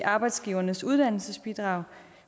arbejdsgivernes uddannelsesbidrag